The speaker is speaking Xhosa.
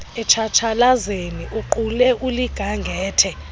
etshatshalazeni uqule uligangathe